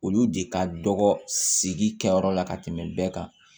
Olu de ka dɔgɔ sigi kɛ yɔrɔ la ka tɛmɛ bɛɛ kan